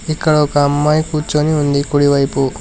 ఇక్కడ ఒక అమ్మాయి కూర్చుని ఉంది కుడివైపు.